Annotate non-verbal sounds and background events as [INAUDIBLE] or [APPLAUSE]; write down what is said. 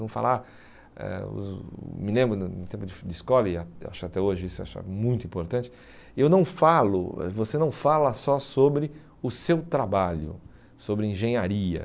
[UNINTELLIGIBLE] Me lembro, no tempo de escola, e ah acho até hoje isso acho muito importante, eu não falo eh você não fala só sobre o seu trabalho, sobre engenharia.